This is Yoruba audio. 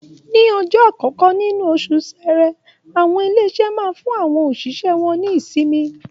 Ní ọjọ́ àkọ́kọ́ nínú oṣù Ṣẹẹrẹ, àwọn ilé-iṣẹ́ máa ń fún àwọn òṣìṣẹ́ wọn ní ìsinmi.